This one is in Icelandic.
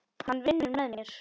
Hann vinnur með mér.